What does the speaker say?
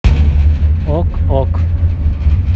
ок ок